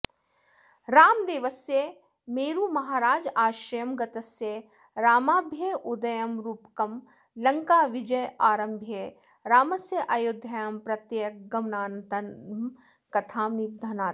रामदेवस्य मेरुमहाराजाश्रयं गतस्य रामाभ्युदयं रूपकं लङ्काविजयमारभ्य रामस्यायोध्यां प्रत्यागमनान्तां कथां निबध्नाति